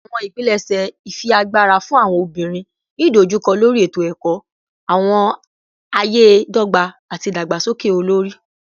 Awọn ipilẹṣẹ ifiagbara fun awọn obinrin ni idojukọ lori eto-ẹkọ, awọn aye dogba, ati idagbasoke olori